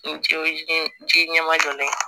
N cɛw ye ji ɲɛmajɔ yen